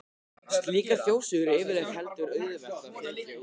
Slíkar þjóðsögur er yfirleitt heldur auðvelt að þekkja úr.